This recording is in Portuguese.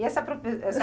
E essa profe essa